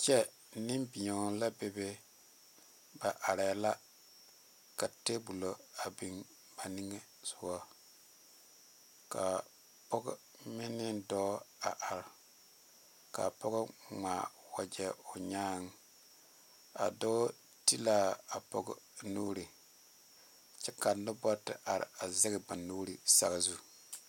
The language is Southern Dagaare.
Kyɛ Nenbeɛo la bebe ba are la ka tabolɔ a biŋ ba niŋe soga kaa pɔge meŋ ne dɔɔ a are kaa pɔge ŋmaa wagye o nyaa a dɔɔ ti la a pɔge nuure kyɛ ka noba te are zaŋ ba nuure saazu.